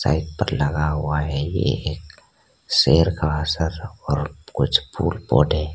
Side पर लगा हुआ है ये एक शेर का सर और कुछ फूल पौधे।